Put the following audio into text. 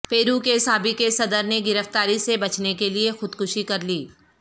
پیرو کے سابق صدر نے گرفتاری سے بچنے کے لیے خودکشی کر لی